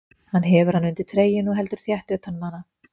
Hann hefur hana undir treyjunni og heldur þétt utan um hana.